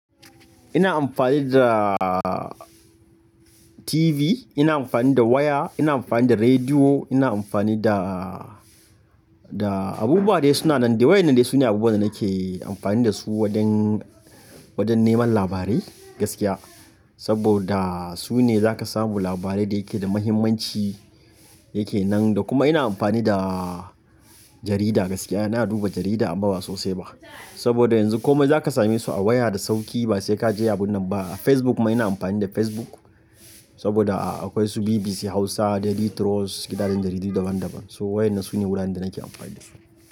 Ina amfani da TV, ina amfani da waya, ina amfani da rediyo, ina amfani da, da abubuwa da suna nan. Da wayoyi nan dai su ne abubuwan da nake amfani da su wajen, wajen neman labarai gaskiya. Saboda su ne za ka samu labarai da yake da mahimmanci yake nan. Da kuma ina amfani da jarida gaskiya. Ina duba jarida amma ba sosai ba. Saboda yanzu kome za ka same su a waya da sauƙi ba sai ka je abunan nan ba. Facebook ma ina amfani da Facebook saboda akwai su BBC Hausa, Daily Trust, gidajen jaridu daban daban. So wayoyi nan su ne wuraren da nake amfani da su.